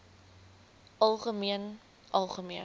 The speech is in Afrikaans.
algemeen algemeen